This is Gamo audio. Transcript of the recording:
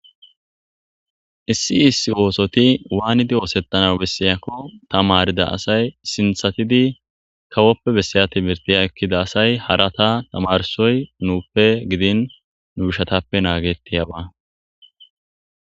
issi issi oosoti waanidi oosettana bessiyakko tamarida asay sinthatidi kawoppe bessaya timirtiy ekkida asay harata tamarsoy nuuppe gidin nu ishatappe naagettiyaba